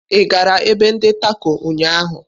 Ị gara ebe ndi Tako ụnyaahụ?